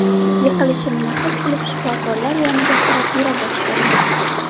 Yiqilishimni his qilib shifokorlar yoniga qarab yura boshladim.